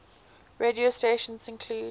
radio stations include